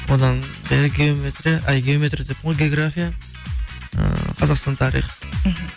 одан геометрия ай геометрия деппін ғой география ыыы қазақстан тарих мхм